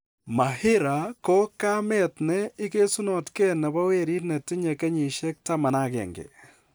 Mahira ko kamet ne igesunotke nebo werit netinye kenyisyek 11.